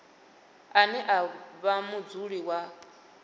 ane a vha mudzuli wa